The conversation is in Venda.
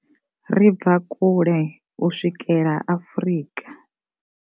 Ri bva kule u swikela Afrika.